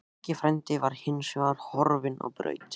Maggi frændi var hins vegar horfinn á braut.